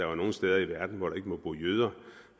var nogen steder i verden hvor der ikke tankegang bryder